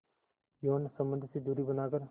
यौन संबंध से दूरी बनाकर